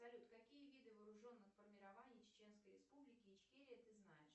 салют какие виды вооруженных формирований чеченской республики ичкерия ты знаешь